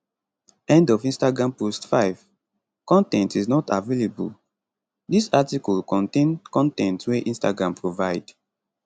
end of instagram post 5 con ten t is not available dis article contain con ten t wey instagram provide